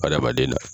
Adamaden na